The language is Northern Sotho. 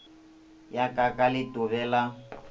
ya ka ka letobe la